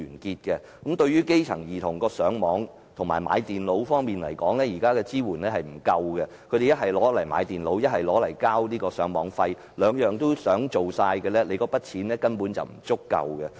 政府現時對於基層兒童上網學習和購買電腦方面的支援並不足夠，他們只能用津貼購買電腦或繳交上網費用，如果兩者都想做，津貼根本不足夠。